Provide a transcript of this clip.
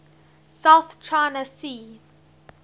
south china sea